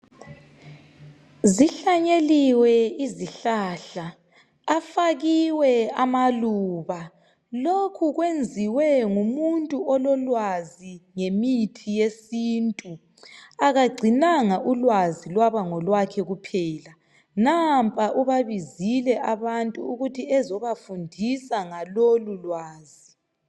Zihlanyeliwe izihlahla afakiwe amaluba lokhu kwenziwe ngumuntu ololwazi ngèmithi yesintu. Akagcinanga ulwazi lwaba ngolwake kuphela . Nampa ubabizile abantu ukuthi ezobafundisa ngalolulwazi.